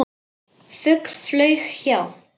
Fugl flaug hjá.